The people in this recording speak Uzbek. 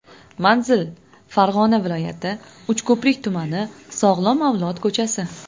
Manzil: Farg‘ona viloyati, Uchko‘prik tumani, Sog‘lom avlod ko‘chasi.